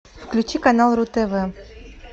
включи канал ру тв